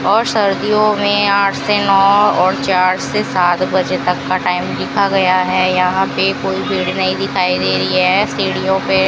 और सर्दियों में आठ से नौ और चार से सात बजे तक का टाइम लिखा गया है यहां पे कोई भीड़ नहीं दिखाई दे रही है सीढ़ियों पे --